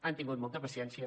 han tingut molta paciència